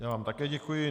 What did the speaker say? Já vám také děkuji.